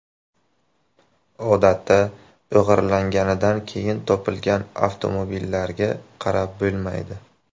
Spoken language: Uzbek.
Odatda o‘g‘irlanganidan keyin topilgan avtomobillarga qarab bo‘lmaydi.